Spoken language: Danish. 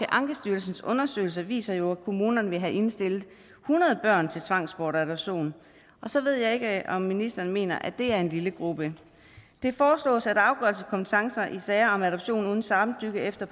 ankestyrelsens undersøgelser viser jo at kommunerne ville have indstillet hundrede børn til tvangsbortadoption og så ved jeg ikke om ministeren mener at det er en lille gruppe det foreslås at afgørelseskompetencer i sager om adoption uden samtykke efter